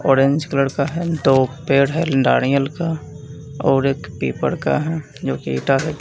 orange colour का है दो पेड़ है नारियल का और एक पीपर का है जो की एटा--